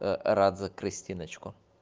рад за кристиночку